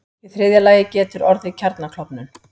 Í þriðja lagi getur orðið kjarnaklofnun.